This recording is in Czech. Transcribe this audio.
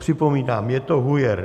Připomínám, je to hujer.